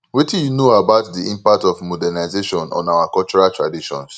wetin you know about di impact of modernization on our cultural traditions